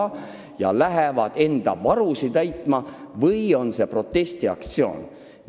Kas inimesed lähevad enda varusid täiendama või on see protestiaktsioon?